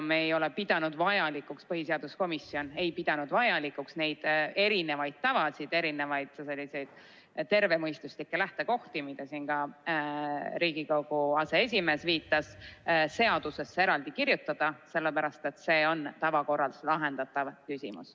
Me ei ole pidanud põhiseaduskomisjonis vajalikuks neid tavasid, neid erinevaid tervemõistuslikke lähtekohti, millele ka Riigikogu aseesimees siin viitas, eraldi seadusesse sisse kirjutada, sellepärast et see on tavakorras lahendatav küsimus.